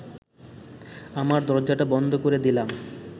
আমার দরজাটা বন্ধ করে দিলাম